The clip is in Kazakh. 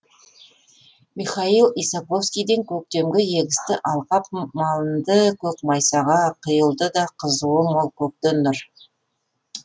михаил исаковскийден көктем егісті алқап малынды көк майсаға құйылды да қызуы мол көктен нұр